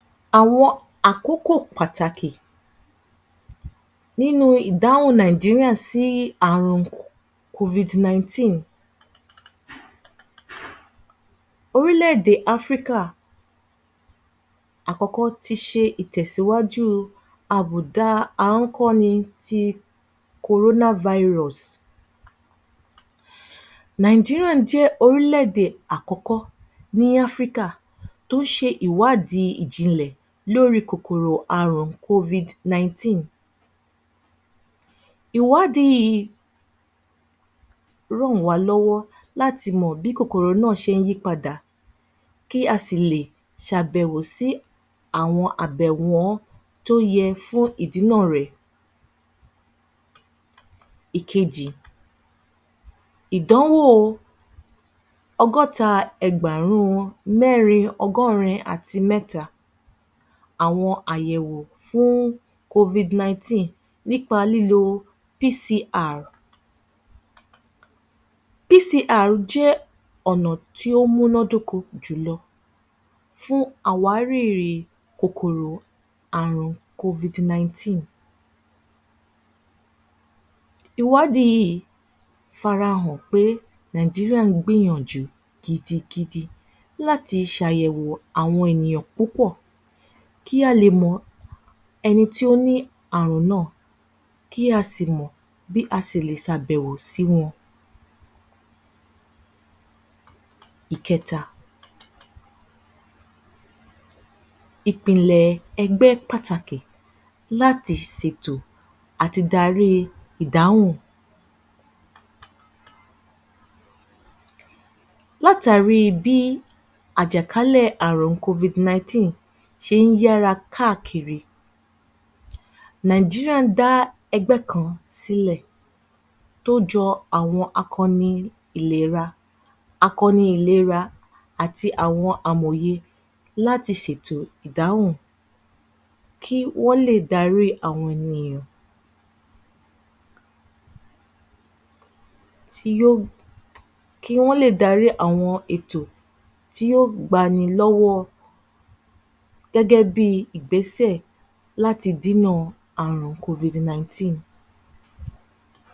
Àwọn àkókò pàtàkì nínú ìdáhùn Nàìjíríà sí àrùn. Orílẹ̀-èdè Áfríkà àkọ́kọ́ ti ṣe ìtẹ̀síwájú àbùdá ni ti. Nàìjíríà jẹ́ orílẹ̀-èdè àkọ́kọ́ ní Áfríkà tó ṣe ìwádìí ìjìnlẹ̀ lóri kòkòrò àrùn. Ìwádìí yìí ràn wá lọ́wọ́ láti mọ̀ bí kòkòrò náà ń ṣe yí padà kí a sì lè ṣàbẹ̀wò sí àwọn abẹ̀wọ́n tó yẹ fún ìdínà rẹ̀. Ìkejì Ìdánwò ọgọ́ta ẹgbàárún wọn mẹ́rin ọgọ́rin àti mẹ́ta. Àwọn àyẹ̀wo fún nípa lílo. jẹ́ ọ̀nà tí ó múnọ́ dóko jùlọ fún àwárìrì kòkòrò àrùn. Ìwádìí yìí farahàn pé Nàìjíríà ń gbìyànjú gidigidi láti ṣàyẹ̀wò àwọn ènìyàn púpọ̀ kí a lè mọ ẹni tí ó ní àrùn náà kí a sì mọ bí a sì lè ṣàbẹ̀wò sí wọn. Ìkẹta Ìpínlẹ̀ ẹgbẹ́ pàtàkì láti ṣètò àti darí ìdáhùn. Látàrí bí i àjàkálẹ̀ àrùn ṣé ń yára káàkiri, Nàìjíríà dá ẹgbẹ́ kan sílẹ̀ tó jọ àwọn akọni ìlèra. Akọni ìlera àti àwọn amọ̀ye láti sètò ìdáhùn kí wọ́n lè darí àwọn ènìyàn tí yóò, kí wọ́n lè darí àwọn ètò tí ó gbani lọ́wọ́ gẹ́gẹ́bí Ìgbésẹ̀ láti Dínà àrùn